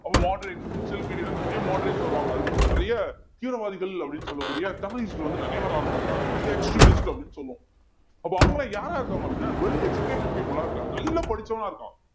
moderates initial period ல நிறைய moderates வருவாங்க அதுக்கப்புறம் நிறைய தீவிரவாதிகள் அப்படின்னு சொல்லக்கூடிய terrorist வந்து நிறைய வர ஆரம்பிக்கிறாங்க அப்படின்னு சொல்லுவோம் அப்ப அவங்கெல்லாம் யாரா இருக்காங்க அப்படின்னா well educated people ஆ இருக்காங்க நல்லா படிச்சவனா இருக்கான்